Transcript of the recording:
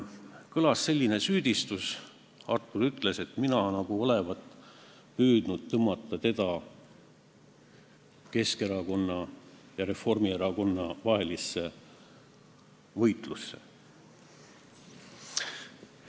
Kõlas selline süüdistus: Artur ütles, et mina olevat püüdnud tõmmata teda Keskerakonna ja Reformierakonna vahelisse võitlusse.